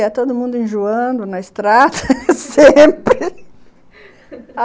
Ia, todo mundo enjoando na estrada sempre